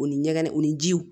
O ni ɲɛgɛn u ni jiw